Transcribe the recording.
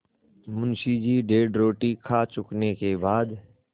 मुंशी जी डेढ़ रोटी खा चुकने के बाद